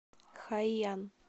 хайян